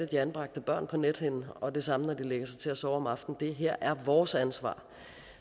de anbragte børn på nethinden og det samme når de lægger sig til at sove om aftenen det her er vores ansvar